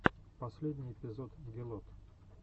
последний эпизод гелот